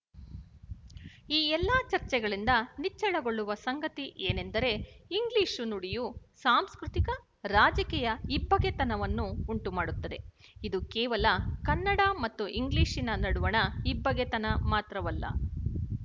ಈ ಎಲ್ಲ ಚರ್ಚೆಗಳಿಂದ ನಿಚ್ಚಳಗೊಳ್ಳುವ ಸಂಗತಿ ಏನೆಂದರೆ ಇಂಗ್ಲಿಶು ನುಡಿಯು ಸಾಂಸ್ಕೃತಿಕರಾಜಕೀಯ ಇಬ್ಬಗೆತನವನ್ನು ಉಂಟುಮಾಡುತ್ತದೆ ಇದು ಕೇವಲ ಕನ್ನಡ ಮತ್ತು ಇಂಗ್ಲಿಶಿನ ನಡುವಣ ಇಬ್ಬಗೆತನ ಮಾತ್ರವಲ್ಲ